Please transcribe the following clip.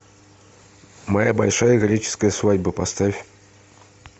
моя большая греческая свадьба поставь